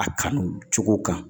A kanu cogo kan